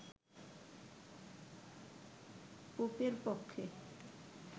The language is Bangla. পোপের পক্ষে